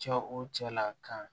Cɛ o cɛ la kan